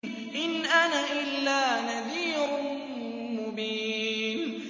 إِنْ أَنَا إِلَّا نَذِيرٌ مُّبِينٌ